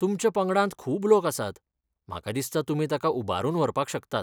तुमच्या पंगडांत खूब लोक आसात, म्हाका दिसता तुमी ताका उबारून व्हरपाक शकतात.